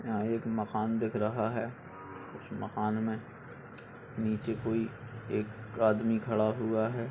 यहां एक मकान दिख रहा है। उस मकान मे नीचे कोई एक आदमी खड़ा हुआ है।